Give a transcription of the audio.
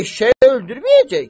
Eşşək öldürməyəcək ki.